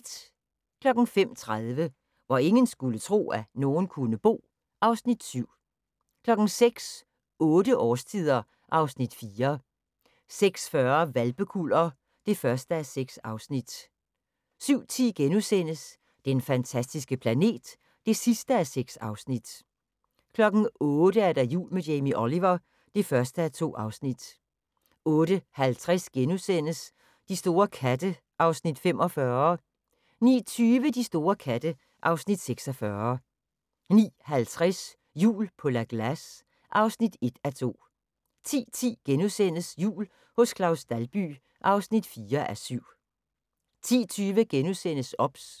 05:30: Hvor ingen skulle tro, at nogen kunne bo (Afs. 7) 06:00: Otte årstider (Afs. 4) 06:40: Hvalpekuller (1:6) 07:10: Den fantastiske planet (6:6)* 08:00: Jul med Jamie Oliver (1:2) 08:50: De store katte (Afs. 45)* 09:20: De store katte (Afs. 46) 09:50: Jul på La Glace (1:2) 10:10: Jul hos Claus Dalby (4:7)* 10:20: OBS *